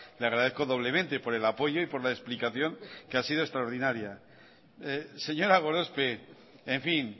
le agradezco doblemente por el apoyo y por la explicación que ha sido extraordinaria señora gorospe en fin